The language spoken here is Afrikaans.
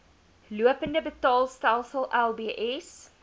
lopende betaalstelsel lbs